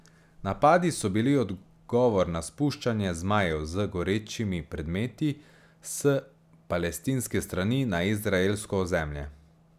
Napadi so bili odgovor na spuščanje zmajev z gorečimi predmeti s palestinske strani na izraelsko ozemlje.